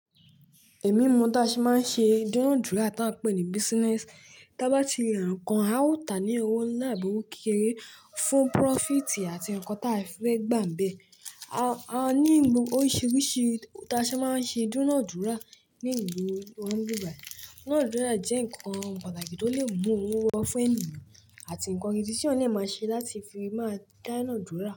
Èmi mo da se máa ń ṣe dúnadúra tá a pè ní business. Ta bá ti ra ǹkan, a ó tà á ní owó ńlá àbi owo kékeré fún profit àti nǹkan tá a fẹ́ gbàǹbẹ́. A ní ìlu oríṣìíríṣìí da sí máa ń ṣe dúnadúra ní ìlú wa nibi bayi. Dúnadúra jẹ́ nǹkan pàtàkì tó lè mú owó wa fún ènìyàn àti nǹkan gidí tí iyan lè máa ṣe láti fi máa dánadúra.